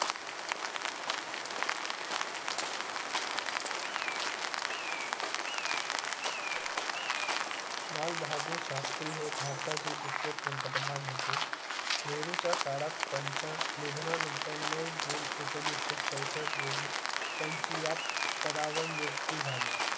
लाल बहादूर शास्री हे भारता चे दुरसे प्रांतप्रधान प्रतंप्रधान होते काळात त्याच्या निधना नंतर नऊ june एकोणेशी चौशष्ट रोजी त्याची या पदा वर नियुक्ती झाली